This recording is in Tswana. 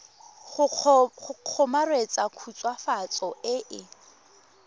go kgomaretsa khutswafatso e e